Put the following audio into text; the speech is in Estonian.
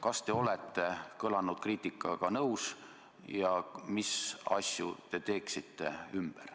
Kas te olete kõlanud kriitikaga nõus ja mis asju te ümber teeksite?